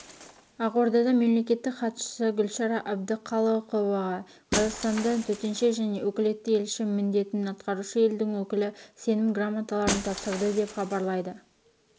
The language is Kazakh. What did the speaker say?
ақордада мемлекеттік хатшысы гүлшара әбдіқалықоваға қазақстанда төтенше және өкілетті елші міндетін атқарушы елдің өкілі сенім грамоталарын тапсырды деп хабарлайды